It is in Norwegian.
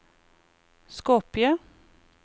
Skopje